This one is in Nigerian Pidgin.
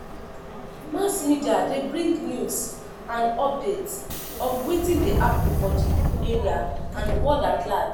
Mass media de bring news and updates of wetin de happen for di area and world at large